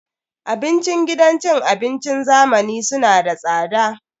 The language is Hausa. Abincin gidan cin abincin zamani suna da tsada.